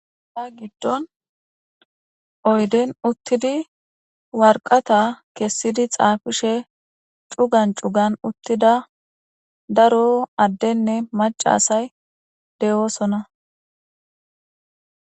Ta giddon oyden uttidi warqata kessidi xaafishe cugan cugan uttida daro addenne macasay de'oosona.